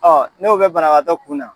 Ɔ n'o be banabaatɔ kun na